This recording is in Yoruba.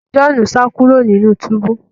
John sa kúrò nínú túbú